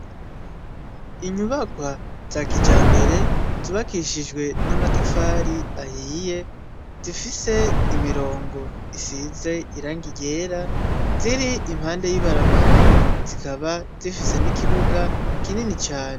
Inyubakwa za kijambere zubakishijwe amatafari ahiye zifise imirongo isize irangi ryera ziri impande y'ibarabara zikaba zifise n'ikibuga kinini cane.